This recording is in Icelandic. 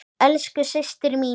Elsku systir mín.